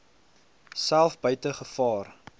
self buite gevaar